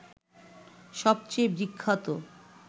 সবচেয়ে বিখ্যাত